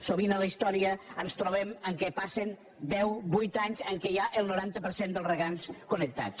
sovint a la història ens trobem que passen deu vuit anys en què hi ha el noranta per cent dels regants connectats